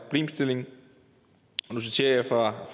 problemstilling og nu citerer jeg fra